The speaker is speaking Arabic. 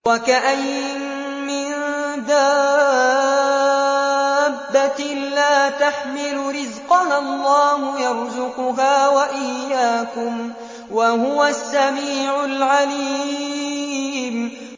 وَكَأَيِّن مِّن دَابَّةٍ لَّا تَحْمِلُ رِزْقَهَا اللَّهُ يَرْزُقُهَا وَإِيَّاكُمْ ۚ وَهُوَ السَّمِيعُ الْعَلِيمُ